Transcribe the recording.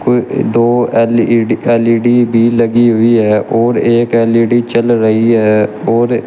दो LED LED भी लगी हुई है और एक एल_इ_डी चल रही है और --